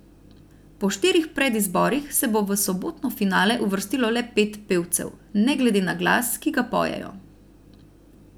Po štirih predizborih se bo v sobotno finale uvrstilo le pet pevcev, ne glede na glas, ki ga pojejo.